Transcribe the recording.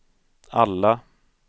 alla